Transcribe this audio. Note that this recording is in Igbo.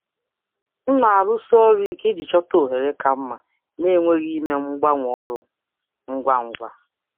Ana m ejikọ aka nke ọma iji chọta ohere ka mma nemeghị mgbanwe ọrụ ngwa ngwa.